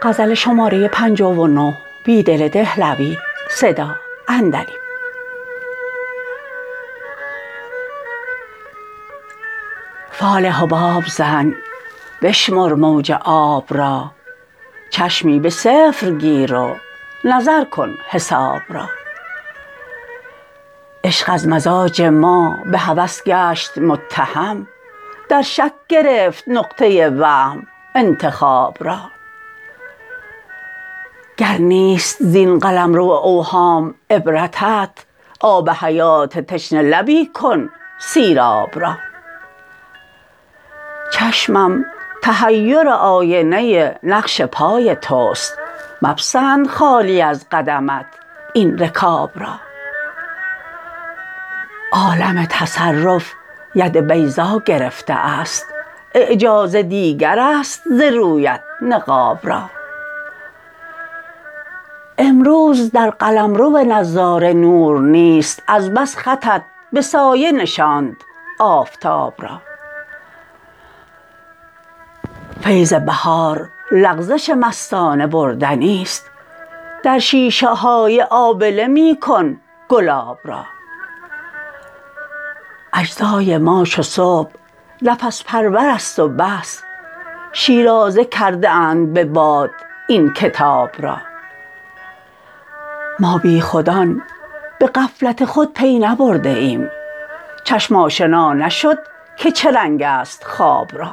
فال حباب زن بشمر موج آب را چشمی به صفر گیر و نظر کن حساب را عشق از مزاج ما به هوس گشت متهم در شک گرفت نقطه وهم انتخاب را گر نیست زین قلمرو اوهام عبرتت آب حیات تشنه لبی کن سیراب را چشمم تحیر آینه نقش پای تست مپسند خالی از قدمت این رکاب را عالم تصرف ید بیضا گرفته است اعجاز دیگر است ز رویت نقاب را امروز در قلمرو نظاره نور نیست از بس خطت به سایه نشاند آفتاب را فیض بهار لغزش مستانه بردنی ست در شیشه های آبله میکن گلاب را اجزای ما چو صبح نفس پرور است و بس شیرازه کرده اند به باد این کتاب را ما بیخودان به غفلت خود پی نبرده ایم چشم آشنا نشد که چه رنگ است خواب را